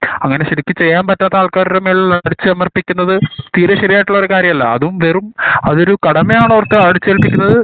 അങ്ങനെ ശെരിക്ക് ചെയ്യാൻ പറ്റാത്ത ആള്ക്കാരടെ മേൽ ഉള്ള അടിച്ചമർത്തിക്കുന്നത് തീരെ ശെരിയായിട്ടുള്ള കാര്യല്ല അതും അതും വെറും അതൊരു ഒരു കടമയാന്ന് ഓർക്ക അടിച്ചേല്പിക്കുന്നത്